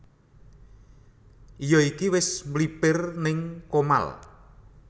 Iyo iki wis mlipir ning Comal